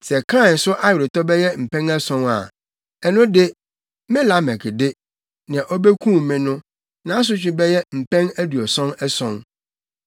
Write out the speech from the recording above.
Sɛ Kain so aweretɔ bɛyɛ mpɛn ason a, ɛno de, me Lamek de, nea obekum me no, nʼasotwe bɛyɛ mpɛn aduɔson ason.”